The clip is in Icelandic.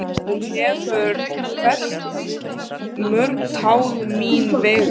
Hún hefur fellt mörg tár mín vegna.